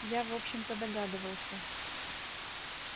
я в общем-то догадывался